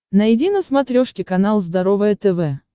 найди на смотрешке канал здоровое тв